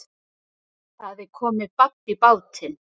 Það er komið babb í bátinn